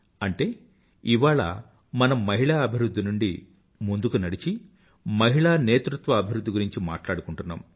అంటే ఇవాళ మనం మహిళా అధివృధ్ధి నుండి ముందుకు నడిచి మహిళా నేతృత్వ అభివృధ్ధి గురించి మాట్లాడుకుంటున్నాం